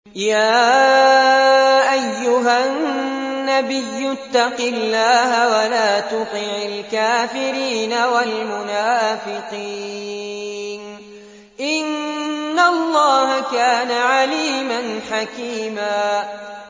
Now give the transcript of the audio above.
يَا أَيُّهَا النَّبِيُّ اتَّقِ اللَّهَ وَلَا تُطِعِ الْكَافِرِينَ وَالْمُنَافِقِينَ ۗ إِنَّ اللَّهَ كَانَ عَلِيمًا حَكِيمًا